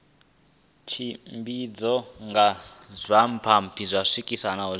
tshimbidzwa nga zwipaipi zwisekene zwine